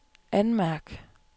anmærk